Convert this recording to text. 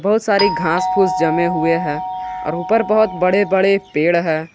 बहुत सारी खास फुस जमे हुए हैं और ऊपर बहुत बड़े बड़े पेड़ है।